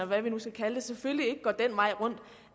hvad nu skal kalde det selvfølgelig ikke går den vej rundt